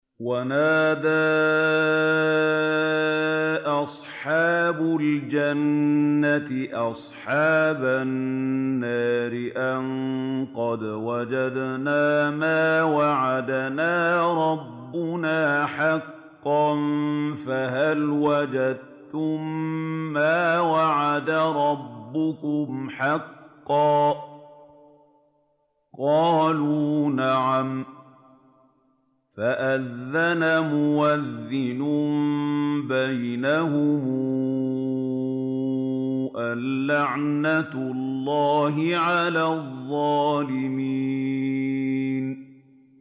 وَنَادَىٰ أَصْحَابُ الْجَنَّةِ أَصْحَابَ النَّارِ أَن قَدْ وَجَدْنَا مَا وَعَدَنَا رَبُّنَا حَقًّا فَهَلْ وَجَدتُّم مَّا وَعَدَ رَبُّكُمْ حَقًّا ۖ قَالُوا نَعَمْ ۚ فَأَذَّنَ مُؤَذِّنٌ بَيْنَهُمْ أَن لَّعْنَةُ اللَّهِ عَلَى الظَّالِمِينَ